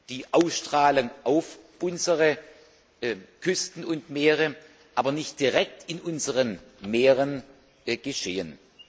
die Auswirkungen auf unsere Küsten und Meere haben, aber nicht direkt in unseren Meeren geschehen.